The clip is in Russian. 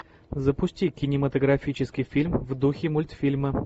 запусти кинематографический фильм в духе мультфильма